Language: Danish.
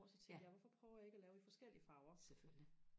hvor så tænkte jeg hvorfor prøver jeg ikke og lave i forskellige farver